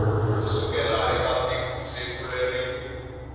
ku sukela eka siku leri